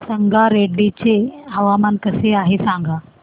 संगारेड्डी चे हवामान कसे आहे सांगा